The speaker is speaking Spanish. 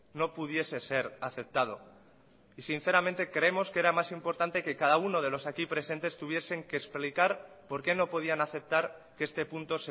no pudiese ser aceptado y sinceramente creemos que era más importante que cada uno de los aquí presentes tuviesen que explicar por qué no podían aceptar que este punto